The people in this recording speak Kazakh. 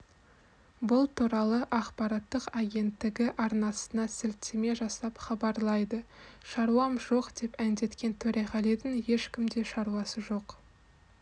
бұл туралы ақпараттық агенттігі арнасына сілтеме жасап хабарлайды шаруам жоқ деп әндеткен төреғалидің ешкімде шаруасы жоқ